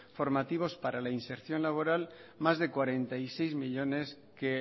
formativas para la inserción laboral más de cuarenta y seis millónes que